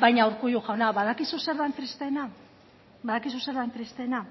baina urkullu jauna badakizu zer den tristeena